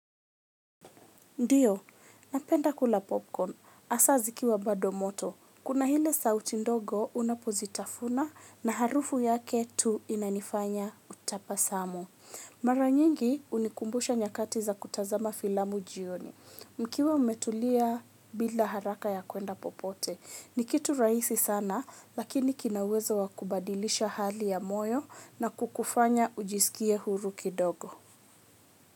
Ndiyo napenda kula popcorn hasa zikiwa bado moto. Kuna ile sauti ndogo unapozitafuna na harufu yake tu inanifanya utapasamo. Mara nyingi hunikumbusha nyakati za kutazama filamu jioni. Mkiwa mmetulia bila haraka ya kuenda popote. Ni kitu rahisi sana lakini kina uwezo wa kubadilisha hali ya moyo na kukufanya ujisikie huru kidogo.